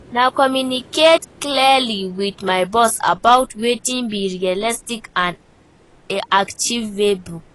Na to communicate clearly with my boss about wetin be realistic and achievable.